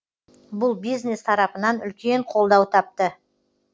бұл бизнес тарапынан үлкен қолдау тапты